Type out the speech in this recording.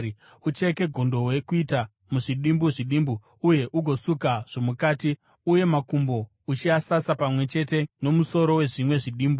Ucheke gondobwe kuita muzvidimbu zvidimbu uye ugosuka zvomukati, uye makumbo, uchiaisa pamwe chete nomusoro nezvimwe zvidimbu.